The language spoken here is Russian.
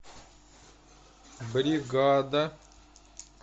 бригада